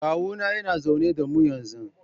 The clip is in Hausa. Kawuna yana zaune da mu yanzu.